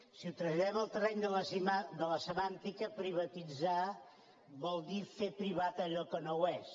si ho traslladem al terreny de la semàntica privatitzar vol dir fer privat allò que no ho és